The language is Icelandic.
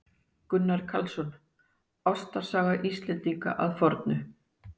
Gunnar Karlsson: Ástarsaga Íslendinga að fornu.